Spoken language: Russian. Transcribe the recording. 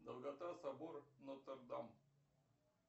долгота собор нотр дам